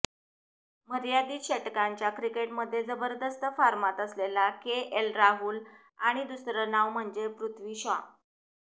मर्यादित षटकांच्या क्रिकेटमध्ये जबरदस्त फॉर्मात असलेला केएल राहुल आणि दुसरं नाव म्हणजे पृथ्वी शॉ